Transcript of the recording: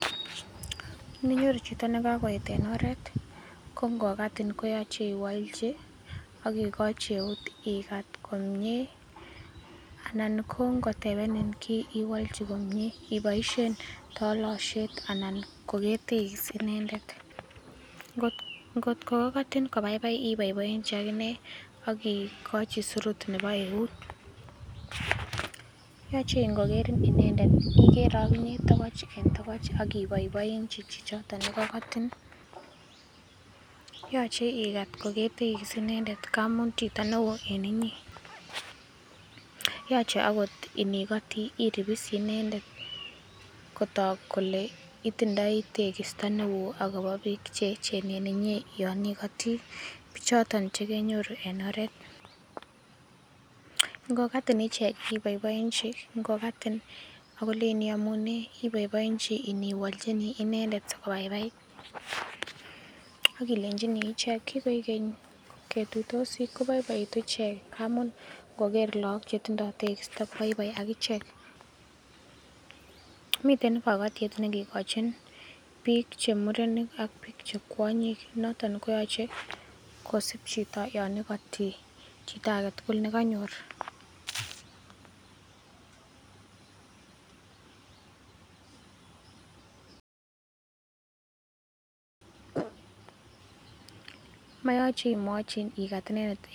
Ininyoru chito ne kagoeet en oret ko ngokatin koyoche iwolchi ak igochi eut igat komyee anan ko ngotebenin kiy iwolchi komie iboisien tolosiet anan ko ketekis inendet, ngotko koigotin kobaibai iboiboenji ak inee ak igochi surut nebo eut. Yoche ingokerin inendet igere oginye togoch en togoch ak iboiboenchi chichoto ne koigotin, yoche igat kogetekis inendet ngamun chito neoo en inyee, yoche agot inikotii iripsii inendet kotok kole itindoi tekisto neo agobo biik ch eeechen en inye yon igotii bichoton che kenyoru en oret, ngo katin ichek iboiboenchi ngokatin ak kolenjin iyomunee iboiboenchi iniwolchini inendet sikobaibait. Ak ilenchini ichek kigoik keny ketuitosi, kobaibaitu ichek ngamun ngoker lagok che tindo tekisto koboiboi ak ichek, miten kogotiet nekikochin biik che muren ak che kwonyik, noton koyoche kosib chito yon igoti chito agetugul nekonyor. Moyoche imwochi igat inendet